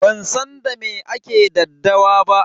Ban san da me ake daddawa ba.